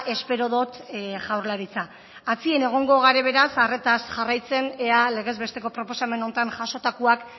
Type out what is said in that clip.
espero dut jaurlaritza atzien egongo gare beraz arretaz jarraitzen ea legez besteko proposamen hontan jasotakoak